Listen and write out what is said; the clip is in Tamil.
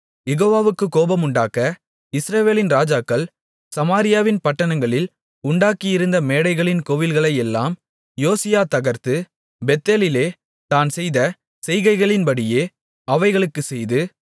யெகோவாவுக்குக் கோபமுண்டாக்க இஸ்ரவேலின் ராஜாக்கள் சமாரியாவின் பட்டணங்களில் உண்டாக்கியிருந்த மேடைகளின் கோவில்களையெல்லாம் யோசியா தகர்த்து பெத்தேலிலே தான் செய்த செய்கைகளின்படியே அவைகளுக்குச் செய்து